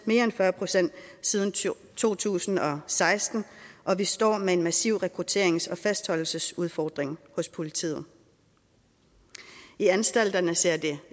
mere end fyrre procent siden to tusind og seksten og vi står med en massiv rekrutterings og fastholdelsesudfordring hos politiet i anstalterne ser det